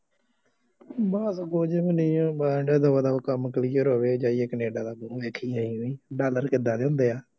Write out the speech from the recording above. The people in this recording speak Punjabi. ਬੱਸ ਕੁੱਝ ਵੀ ਨਹੀਂ ਹੈ, ਬੱਸ ਦਬਾ ਦਬ ਕੰਮ clear ਹੋਵੇ ਜਾਈਏ ਕੈਨੇਡਾ ਦੇਖੀਏ ਡਾਲਰ ਕਿਦਾਂ ਦੇ ਹੁੰਦੇ ਆ